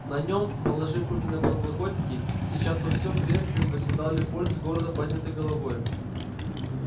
на нем положив руки на подлокотники сейчас во всей красе восседал лепольд с гордо поднятой головой